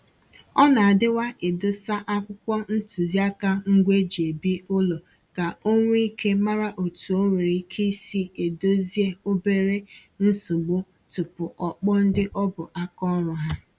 Ọ na-adịwa edosa akwụkwọ ntụziaka ngwa e ji ebi ụlọ ka o nwee íké mara otu o nwere ike isi Ịdòzie obere nsogbu tupu o kpọọ ndị ọ bụ aka ọrụ ha